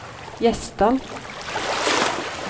Gjesdal